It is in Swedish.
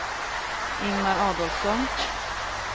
Ingmar Adolfsson